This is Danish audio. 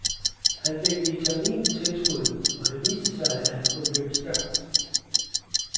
Han fik vitamintilskud, og det viste sig, at han kunne løbe stærkt.